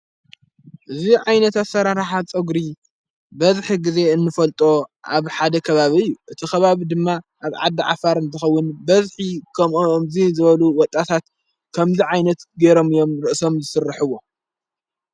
እዙ ዓይነት ኣሠራራሓ ፀጕሪ በዝሒ ጊዜ እንፈልጦ ኣብ ሓደ ከባብ ዩ እቲ ኽባብ ድማ ኣብ ዓዲ ዓፋርን ዝኸውን በዝኂ ከምኡኦ እምዙ ዝበሉ ወጣታት ከምዘ ዓይነት ገይሮም እዮም ርእሶም ዝስርሕዎ።